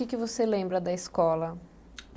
E o que você lembra da escola?